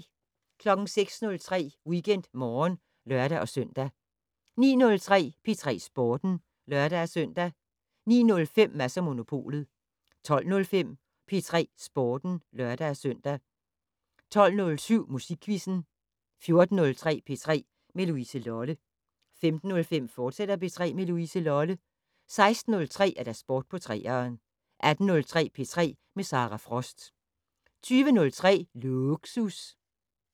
06:03: WeekendMorgen (lør-søn) 09:03: P3 Sporten (lør-søn) 09:05: Mads & Monopolet 12:05: P3 Sporten (lør-søn) 12:07: Musikquizzen 14:03: P3 med Louise Lolle 15:05: P3 med Louise Lolle, fortsat 16:03: Sport på 3'eren 18:03: P3 med Sara Frost 20:03: Lågsus